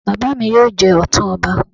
Bàbá mi ni yóò jẹ Ọ̀tún ọba